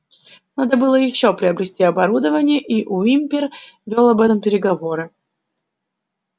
надо было ещё приобрести оборудование и уимпер вёл об этом переговоры